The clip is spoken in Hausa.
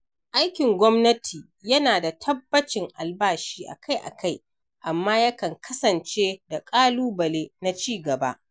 Aikin gwamnati yana da tabbacin albashi akai-akai, amma yakan kasance da ƙalubale na cigaba.